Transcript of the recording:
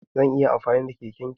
Zan iya amfani da keken ka?